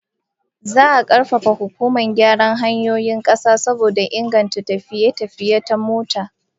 Za'a karfafa hukumar gyara hanyoyin kasa saboda inganta tafiye-tafiye ta mota